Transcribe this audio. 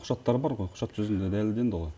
құжаттары бар ғой құжат жүзінде дәлелденді ғой